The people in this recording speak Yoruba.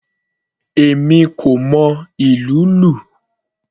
Èmi kò mọ ìlú lù.